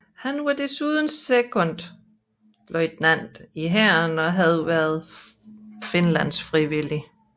Han var desuden sekondløjtnant i hæren og havde været finlandsfrivillig